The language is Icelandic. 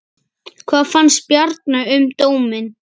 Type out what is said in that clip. Hvað fannst Bjarna um dóminn?